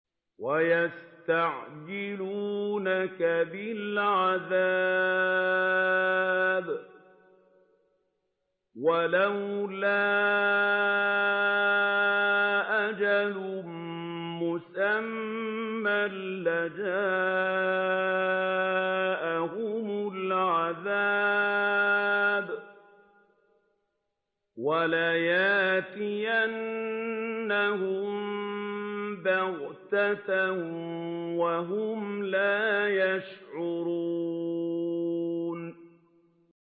وَيَسْتَعْجِلُونَكَ بِالْعَذَابِ ۚ وَلَوْلَا أَجَلٌ مُّسَمًّى لَّجَاءَهُمُ الْعَذَابُ وَلَيَأْتِيَنَّهُم بَغْتَةً وَهُمْ لَا يَشْعُرُونَ